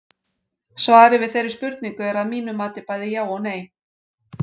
Svarið við þeirri spurningu er að mínu mati bæði já og nei.